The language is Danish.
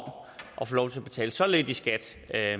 at få lov til at betale så lidt i skat